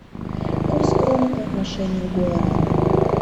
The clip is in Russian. курс кроны по отношению к гуарани